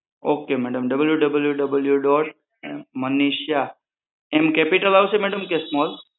Ok madamWWW dot Manisha capital આવશે કે small